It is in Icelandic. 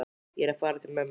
Ég er að fara til mömmu.